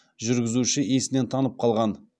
жүргізуші есінен танып қалған